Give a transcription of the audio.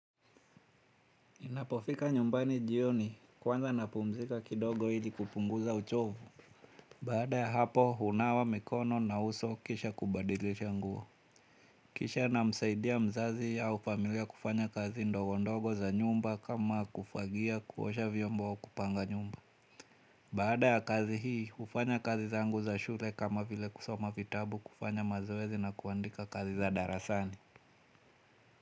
Ninapofika nyumbani jioni kwanza napumzika kidogo ili kupunguza uchovu. Baada ya hapo hunawa mikono na uso kisha kubadilisha nguo. Kisha namsaidia mzazi au familia kufanya kazi ndogo ndogo za nyumba kama kufagia kuosha vyombo au kupanga nyumba. Baada ya kazi hii hufanya kazi zangu za shule kama vile kusoma vitabu kufanya mazoezi na kuandika kazi za darasani.